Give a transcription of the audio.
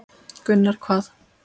Gunnar: Hvað?